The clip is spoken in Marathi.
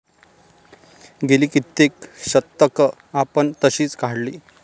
गेली कित्येक शतकं आपण तशीच काढली.